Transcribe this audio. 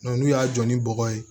n'u y'a jɔ ni bɔgɔ ye